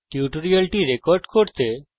এই tutorial record করতে আমি